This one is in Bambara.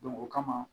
o kama